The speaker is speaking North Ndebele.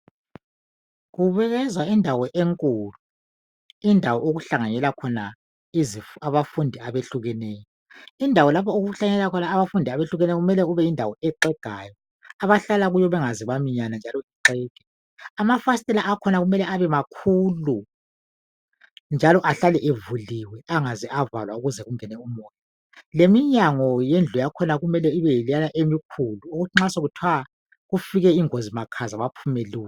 Yindawo enkulu okuhlanganela khona abafundi abatshiyeneyo, kumele kubeyindawo exegayo ukuze abafundi bengaminyani. Lamafasitela kumele abemakhulu ukuze ma kungaba lengozi baphume masinya